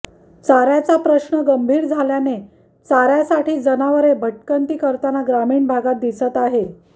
चार्याचा प्रश्न गंभीर झाल्याने चार्यासाठी जनावरे भटकंती करताना ग्रामीण भागात दिसत आहे